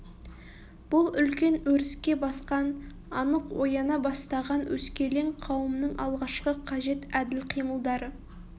бұл үлкен өріске басқан анық ояна бастаған өскелең қауымның алғашқы қажет әділ қимылдары